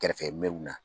Kɛrɛfɛ mɛ na